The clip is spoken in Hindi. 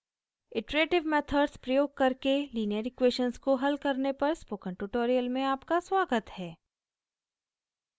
iterative methods प्रयोग करके लीनियर इक्वेशन्स को हल करने पर स्पोकन ट्यूटोरियल में आपका स्वागत है